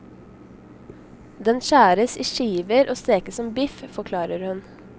Den skjæres i skiver og stekes som biff, forklarer hun.